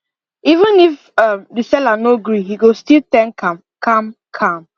even if um the seller no gree he go still thank am calm calm